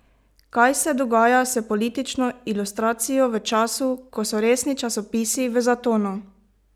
Kaj se dogaja s politično ilustracijo v času, ko so resni časopisi v zatonu?